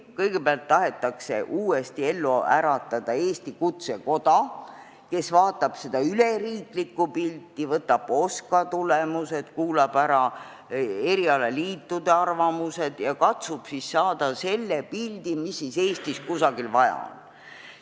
Kõigepealt tahetakse uuesti ellu äratada Eesti kutsekoda, kes vaatab riigiülest pilti, võtab OSKA tulemused, kuulab ära erialaliitude arvamused ja katsub siis saada aru, mida Eestis kusagil vaja on.